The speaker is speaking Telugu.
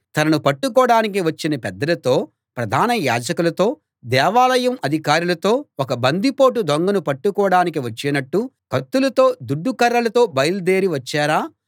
తనను పట్టుకోడానికి వచ్చిన పెద్దలతో ప్రధాన యాజకులతో దేవాలయం అధికారులతో ఒక బందిపోటు దొంగను పట్టుకోడానికి వచ్చినట్టు కత్తులతో దుడ్డు కర్రలతో బయల్దేరి వచ్చారా